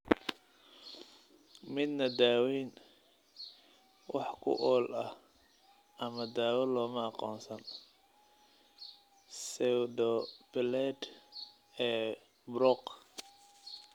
Midna daaweyn wax ku ool ah ama daawo looma aqoonsan pseudopelade ee Brocq.